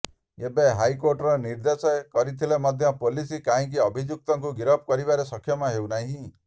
ଏବେ କୋର୍ଟର ନିର୍ଦ୍ଦେଶ ରହିଥିଲେ ମଧ୍ୟ ପୋଲିସ କାହିଁକି ଅଭିଯୁକ୍ତକୁ ଗିରଫ କରିବାରେ ସକ୍ଷମ ହେଉନାହିଁ